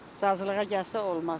Razılığa gəlsə olmaz.